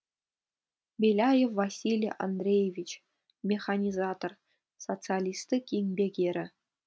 беляев василий андреевич механизатор социалистік еңбек ері